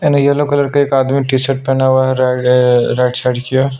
एने yellow colour के एक आदमी टी -शर्ट पहना हुआ है और राइट साइड की ओर --